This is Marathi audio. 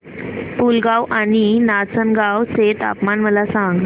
पुलगांव आणि नाचनगांव चे तापमान मला सांग